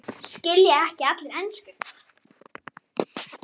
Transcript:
Skilja ekki allir ensku?